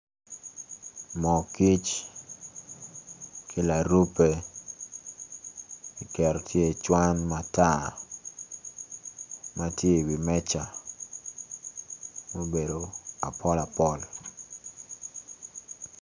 Moo kic ki larubbe kiketo tye icwan matar ma tye iwi meja ma obedo apol apol.